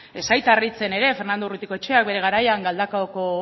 ez zait harritzen ere fernando urruticoecheak bere garaian galdakaoko